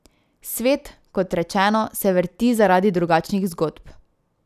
Svet, kot rečeno, se vrti zaradi drugačnih zgodb.